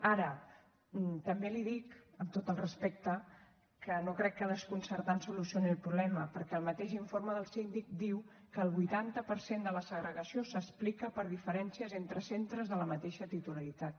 ara també li dic amb tot el respecte que no crec que desconcertar ens solucioni el problema perquè el mateix informe del síndic diu que el vuitanta per cent de la segregació s’explica per diferències entre centres de la mateixa titularitat